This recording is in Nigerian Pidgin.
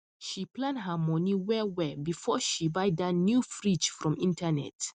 she plan her money well well before she buy that new fridge from internet